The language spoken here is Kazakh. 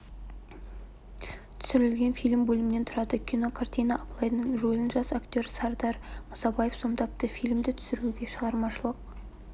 түсірілген фильм бөлімнен тұрады кинокартинада абылайдың рөлін жас актер сардар мұсабаев сомдапты фильмді түсіруге шығармашылық